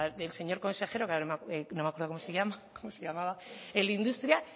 consejero que ahora no me acuerdo como se llamaba el de industria